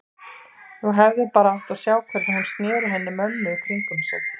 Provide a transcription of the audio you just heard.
Þú hefðir bara átt að sjá hvernig hún sneri henni mömmu í kringum sig.